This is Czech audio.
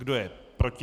Kdo je proti?